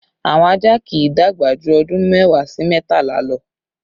Àwọn ajá kì í dàgbà jù ọdún mẹ́wàá sí mẹ́tàlá lọ